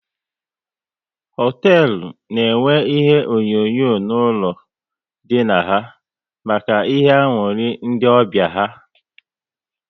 Hoteelu na enwe ihe onyonyo n'ụlọ ndina ha maka ihe aṅụrị ndị ọbịa ha